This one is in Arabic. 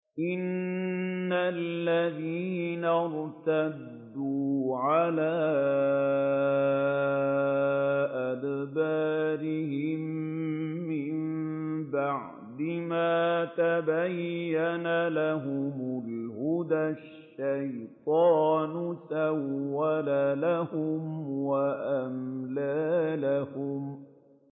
إِنَّ الَّذِينَ ارْتَدُّوا عَلَىٰ أَدْبَارِهِم مِّن بَعْدِ مَا تَبَيَّنَ لَهُمُ الْهُدَى ۙ الشَّيْطَانُ سَوَّلَ لَهُمْ وَأَمْلَىٰ لَهُمْ